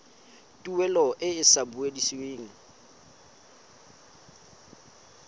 tuelo e e sa busediweng